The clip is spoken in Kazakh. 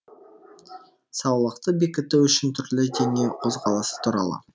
саулықты бекіту үшін түрлі дене қозғалысы туралы